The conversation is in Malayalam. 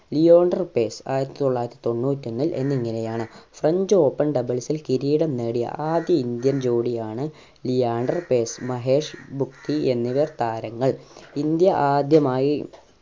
ലിയോണ്ടർ പേസ് ആയിരത്തി തൊള്ളായിരത്തി തൊണ്ണൂറ്റി ഒന്നിൽ എന്നിങ്ങനെ ആണ് french open doubles ൽ കിരീടം നേടിയ ആദ്യ indian ജോഡി ആണ് ലിയാണ്ടർ പേസ് മഹേഷ് ഭൂപതി എന്നിവർ താരങ്ങൾ. ഇന്ത്യ ആദ്യമായി